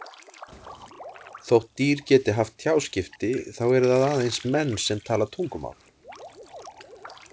Þótt dýr geti haft tjáskipti þá eru það aðeins menn sem tala tungumál.